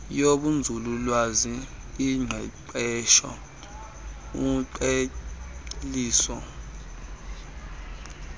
yobunzululwazi ingqeqesho uqheliso